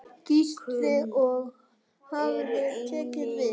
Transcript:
Gísli: Og hvað tekur við?